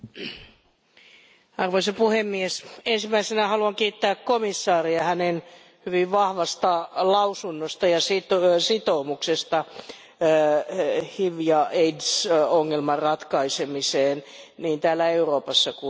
Arvoisa puhemies, ensimmäisenä haluan kiittää komissaaria hänen hyvin vahvasta lausunnostaan ja sitoumuksesta HIV ja aids ongelman ratkaisemiseen niin täällä Euroopassa kuin globaalisti.